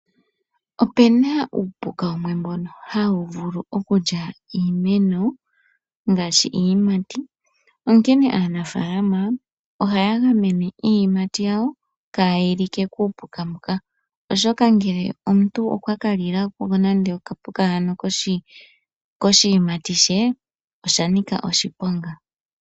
Opena uupuka wumwe mbono hawu vulu okulya iimeno ngaashi iiyimati ,onkene aanafaalama oha ya gamene iiyimati yawo kayi like kuupuka mboka oshoka ngele omuntu okwa ka lilako okapuka haka koshiyimati she oshanika oshiponga.